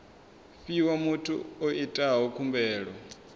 fhiwa muthu o itaho khumbelo